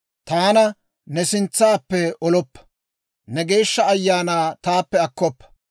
Taana ne sintsaappe oloppa; ne Geeshsha Ayaanaa taappe akkoppa.